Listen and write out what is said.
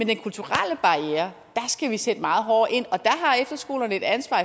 den kulturelle barriere skal vi sætte meget hårdere ind og der har efterskolerne et ansvar